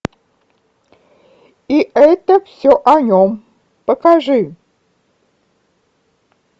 и это все о нем покажи